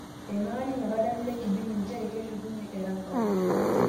Eimaka ninye oladalani le Kibini njere keshukunyie Erankau